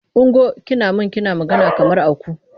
Ungo! Kina man kina magana kamar aku.